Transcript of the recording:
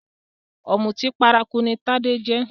Òmùtí paraku ní Tádé jẹ́